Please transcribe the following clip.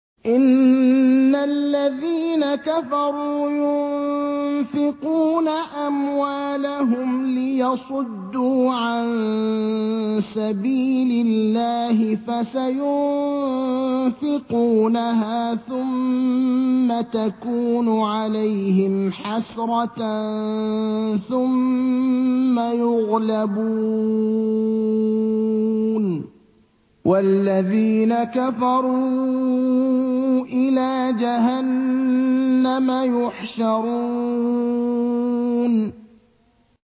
إِنَّ الَّذِينَ كَفَرُوا يُنفِقُونَ أَمْوَالَهُمْ لِيَصُدُّوا عَن سَبِيلِ اللَّهِ ۚ فَسَيُنفِقُونَهَا ثُمَّ تَكُونُ عَلَيْهِمْ حَسْرَةً ثُمَّ يُغْلَبُونَ ۗ وَالَّذِينَ كَفَرُوا إِلَىٰ جَهَنَّمَ يُحْشَرُونَ